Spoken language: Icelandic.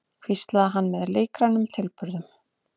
hvíslaði hann með leikrænum tilburðum.